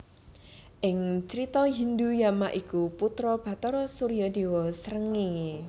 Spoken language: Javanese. Ing Crita Hindhu Yama iku putra Bathara Surya déwa srengéngé